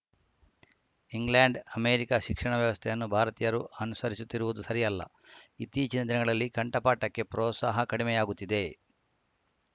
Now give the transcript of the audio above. England America ಶಿಕ್ಷಣ ವ್ಯವಸ್ಥೆಯನ್ನು ಭಾರತೀಯರು ಅನುಸರಿಸುತ್ತಿರುವುದು ಸರಿಯಲ್ಲ ಇತ್ತೀಚಿನ ದಿನಗಳಲ್ಲಿ ಕಂಠಪಾಠಕ್ಕೆ ಪ್ರೋತ್ಸಾಹ ಕಡಿಮೆಯಾಗುತ್ತಿದೆ